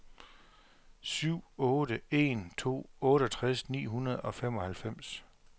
syv otte en to otteogtres ni hundrede og femoghalvfems